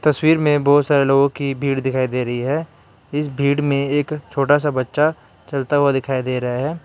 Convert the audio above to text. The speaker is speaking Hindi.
तस्वीर में बहुत सारे लोगों की भीड़ दिखाई दे रही है इस भीड़ में एक छोटा सा बच्चा चलता हुआ दिखाई दे रहा है।